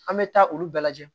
An bɛ taa olu bɛɛ lajɛ